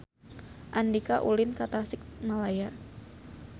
Andika ulin ka Tasikmalaya